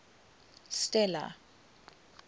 stella